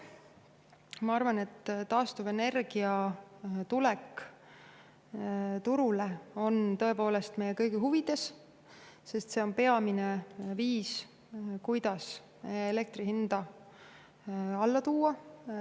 Ma arvan, et taastuvenergia turule tulek on meie kõigi huvides, sest see on peamine viis, kuidas elektri hinda alla tuua.